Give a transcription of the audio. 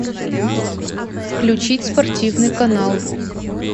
включить спортивный канал